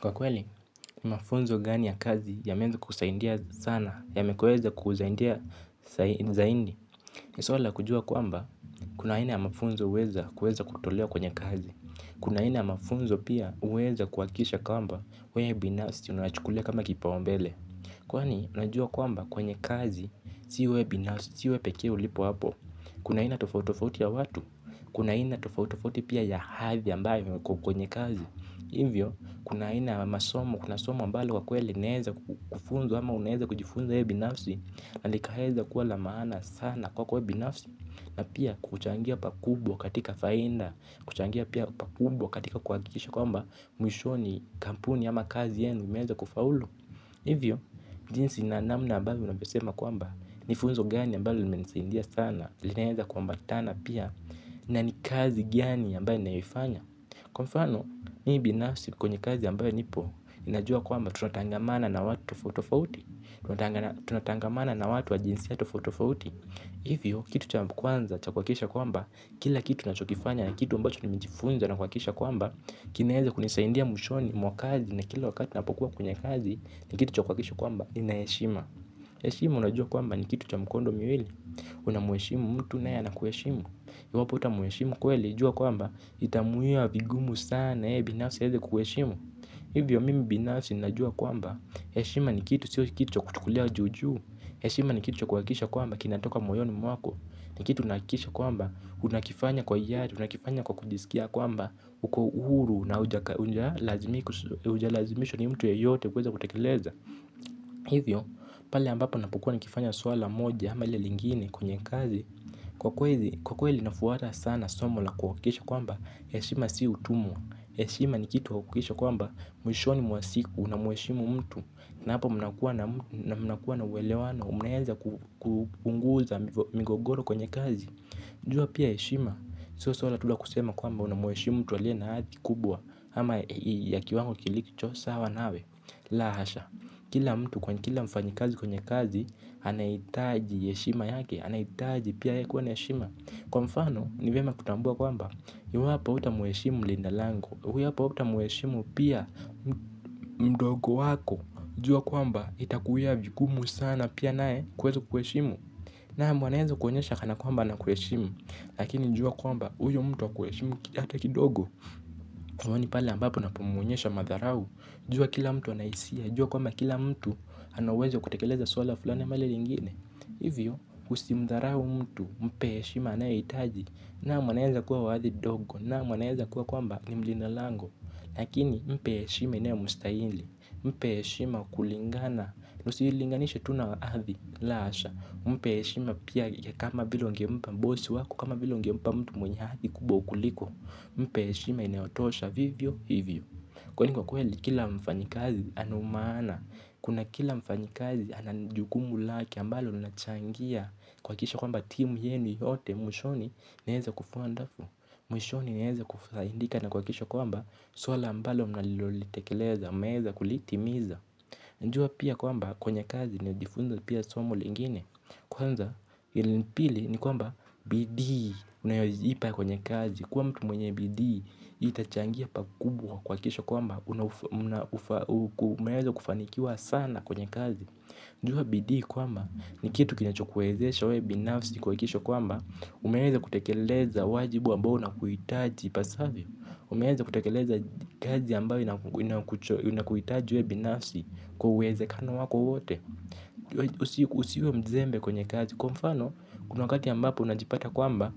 Kwa kweli, mafunzo gani ya kazi yameweza kusaindia sana, ya mekoweza kuzaindia zaindi. Nisola kujua kwamba, kuna ina ya mafunzo uweza kutolewa kwenye kazi. Kuna aina ya mafunzo pia huweza kuhakisha kwamba wewe binafsi unayachukulie kama kipaumbele. Kwani, unajua kwamba kwenye kazi si wewe binasisi wewe pekee ulipo hapo. Kuna aina tofauti tofauti ya watu, kuna aina tofauti tofauti pia ya hadhi ambayo kwenye kazi. Hivyo, kuna ina masomo, kuna somo mbalo kwa kwele naeza kufunzo ama unaeza kujifunzo ye binafsi. Na lika heza kuwa lamana sana kwa kwe binafsi. Na pia kuchangia pakubwa katika fainda, kuchangia pia pakubwa katika kwa kikisha kwa mba mwishoni kampuni ama kazi yenu inaweza kufaulu hivyo jinsi na namna ambavyo tunatangamana na watu wa jinsia tofauti tofauti. Hivyo, kitu cha kwanza cha kuhakikisha kwamba kila kitu unachokifanya ni kitu ambacho nimejifunza na kuhakikisha kwamba kinaweza kunisaidia mwishoni mwa kazi na kila wakati ninapokuwa kwenye kazi. Ni kitu cha kuhakikisha kwamba nina heshima heshima unajua kwamba ni kitu cha mkondo miwili. Unamheshimu mtu naye anakuheshimu iwapo huta mheshimu kweli jua kwamba itamuia vigumu sana yeye binafsi aweze kukuheshimu. Hivyo mimi binafsi najua kwamba. Heshima si kitu cha kuchukulia juu juu. Heshima ni kitu cha kuhakikisha kwamba kinatoka moyoni mwako. Ni kitu nahakikisha kwamba unakifanya kwa hiari unakifanya kwa kujiskia kwamba uko uhuru na huja lazimishwa ni mtu yoyote kuweza kutekeleza. Hivyo pale ambapo napokuwa nikifanya swala moja ama lili lingini kwenye kazi. Kwa kweli nafuata sana somo la kuhakikisha kwamba heshima si utumwa heshima ni kitu kukisha kwamba mwishoni mwa siku unamheshimu mtu. Na hapa mnakuwa na uelewano munaweza kupunguza migogoro kwenye kazi. Jua pia heshima sio swala tu la kusema kwamba unamheshimu mtu aliye na hadhi kubwa ama ya kiwango kilicho sawa nawe la hasha. Kila mtu kwa kila mfanyikazi kwenye kazi anahitaji heshima yake anahitaji pia yeye kuwa na heshima kwa mfano ni vyema kutambua kwamba ni wapi huta mheshimu mlinda lango. Huyo hapa uta mheshimu pia. Mdogo wako jua kwamba itakuia vikumu sana. Pia naye kuweza kuheshimu. Naam wanaweza kuonyesha kana kwamba ana kuheshimu. Lakini jua kwamba huyo mtu hakuheshimu hata kidogo pale unapomwonyesha madharau jua kwamba lakini mpe heshima inayomstahili mpe heshima kulingana nusilinganisha tuna wazi lasha, mpeheshima pia kama vilo ngempa mbosi wako, kama vilo ngempa mtu mwenye hazi kubo ukuliko mpeheshima inayotosha vivyo hivyo, kwangu kwa kweli kila mfanyikazi ana swala ambalo mnalilolitekeleza. Mnaweza kulitimiza najua pia kwamba kwenye kazi. Najifunza pia somo lingine. Kwanza ilipili ni kwamba bidii unayozipa kwenye kazi. Kwamtu mwenye bidii itachangia pakubwa kwenye kazi kwakisha kwamba unaweza kufanikiwa sana kwenye kazi jua bidii kwamba ni kitu kinachokuwezesha wewe binafsi kuhakikisha kwamba umeweza kutekeleza wajibu ambao unakuhitaji pasavyo. Unaweza kutekeleza kazi ambayo inakuhitaji wewe binafsi kwa uwezekano wako wote. Usiuwe mzembe kwenye kazi. Kwa mfano kuna wakati ambapo unajipata kwamba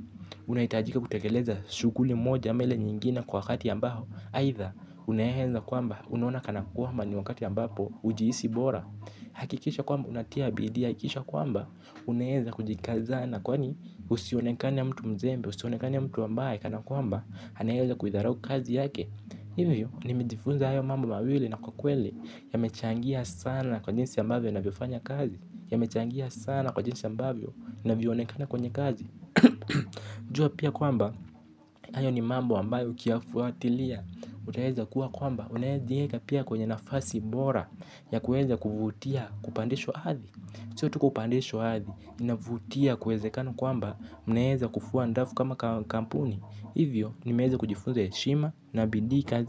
unahitajika kutekeleza shughuli moja ama ile nyingine kwa wakati ambao. Aidha unaweza kwamba unaona kana kwamba ni wakati ambapo hujihisi bora. Hakikisha kwamba unatia bidii hakikisha kwamba unaweza kujikazana. Kwani usionekane mtu mzembe. Usionekane mtu ambaye kana kwamba anaweza kuidharau kazi yake. Hivyo nimejifunza mambo hayo mawili na kwa kwelo. Yamechangia sana kwa jinsi ambavyo navyo fanya kazi. Yamechangia sana kwa jinsi ambavyo navyo onekana kwenye kazi. Jua pia kwamba hayo ni mambo ambayo ukiyafuatilia utaeza kuwa kwamba unaeza dieka pia kwenye nafasi bora ya kueze kufutia kupandesho hathi. Chotu kupandesho hathi. Inavutia kueze kano kwamba mneheze kufuwa ndafu kama kampuni. Hivyo nimeheze kujifunza ya shima na bindi kazi.